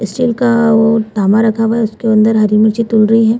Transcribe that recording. Steel का वो धामा रखा हुआ है उसके अंदर हरी मिर्ची तुल रही है।